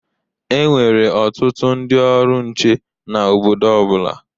Enwere ọtụtụ ndị ọrụ nche na obodo ọ bụla.